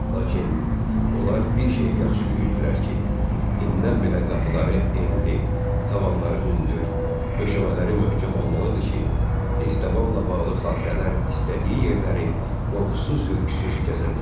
Lakin onlar bir şeyi yaxşı bilirdilər ki, innən belə qapıları enli, tavanları hündür, döşəmələri möhkəm olmalıdır ki, Estəbanla bağlı xatirələr istədiyi yerləri qorxusuz-ürküsüz gəzə bilsin.